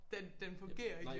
Den den fungerer ikke lige